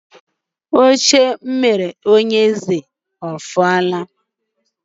Oche m rụrụ bunye onye eze o fuola?